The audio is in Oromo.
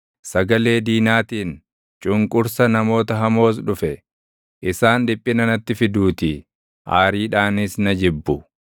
Sagalee diinaatiin, cunqursa namoota hamoos dhufe; isaan dhiphina natti fiduutii; aariidhaanis na jibbu.